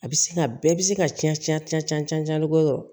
A bɛ se ka bɛɛ bɛ se ka ca ca bɔ yɔrɔ